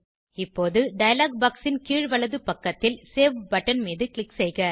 இப்போது dialog box ன் கீழ் வலது பக்கத்தில் சேவ் பட்டன் மீது க்ளிக் செய்க